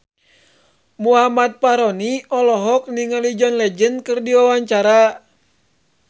Muhammad Fachroni olohok ningali John Legend keur diwawancara